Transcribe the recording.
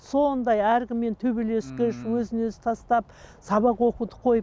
сондай әркіммен төбелескіш өзін өзі тастап сабақ оқуды қойып